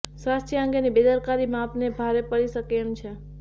સ્વાસ્થ્ય અંગેની બેદરકારી આપને ભારે પડી શકે તેમ છે